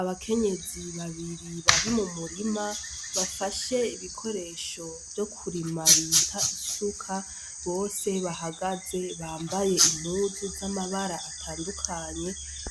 Abakenyezi babiri bari mu murima bafashe ibikoresho vyo kurima bita isuka, bose bahagaze bambaye impuzu z'amabara atandukanye